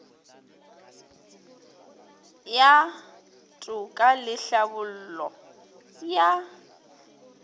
ya toka le tlhabollo ya